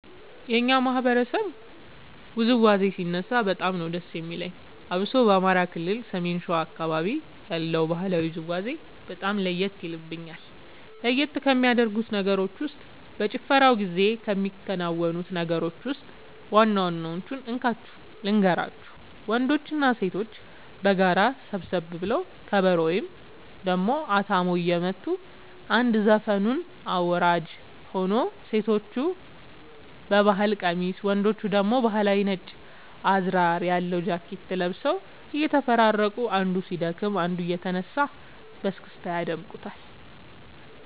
የኛ ማህበረሰብ ውዝዋዜ ሲነሳ በጣም ነዉ ደስ የሚለኝ አብሶ በአማራ ክልል ሰሜን ሸዋ አካባቢ ያለው ባህላዊ ውዝውዜ በጣም ለየት የልብኛል። ለየት ከሚያደርጉት ነገሮች ውስጥ በጭፈራው ጊዜ ከሚከናወኑት ነገሮች ውስጥ ዋና ዋናወቹን እንካችሁ ልንገራችሁ ወንዶችና ሴቶች በጋራ ሰብሰብ ብለው ከበሮ ወይም ደሞ አታሞ እየመቱ አንድ ዘፈኑን አወራራጅ ሆኖ ሴቶቹ በባህል ቀሚስ ወንዶቹ ደግሞ ባህላዊ ነጭ አዝራር ያለው ጃኬት ለብሰው እየተፈራረቁ አንዱ ሲደክም አንዱ እየተነሳ በስክስታ ያደምቁታል